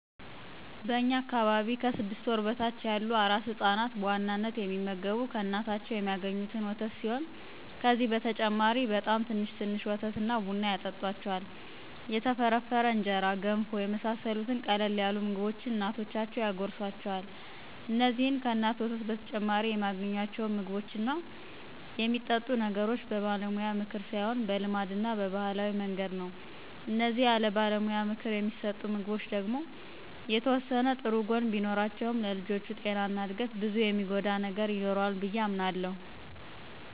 በእኛ አካባቢ ከስድስት ወር በታች ያሉ አራስ ህፃናት በዋናነት የሚመገቡ ከእናታቸው የሚአገኙትን ወተት ሲሆን ከዚህ በተጨማሪ በጣም ትንሽ ትንሽ ወተት እና ቡና ያጠጡአቸዋል፣ የተፈረፈረ እንጀራ፣ ገንፎ የመሳሰሉትን ቀለል ያሉ ምግቦችን እናቶቻቸው ያጎርሱአቸዋል። እንዚህን ከእናት ወተት በተጨማሪ የሚአገኙአቸውን ምግቦች እና የሚጠጡ ነገሮች በባለሙያ ምክር ሳይሆን በልማድ እና በባህላዊ መንገድ ነው። እነዚህ ያለባለሙያ ምክር የሚሰጡ ምግቦች ደግሞ የተወሰነ ጥሩ ጎን ቢኖራቸውም ለልጆቹ ጤና እና እድገት ብዙ የሚጎዳ ነገር ይኖረዋል ብዬ አምናለሁ።